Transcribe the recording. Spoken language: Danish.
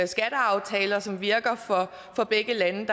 skatteaftaler som virker for begge lande